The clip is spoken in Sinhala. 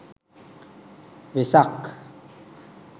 vesak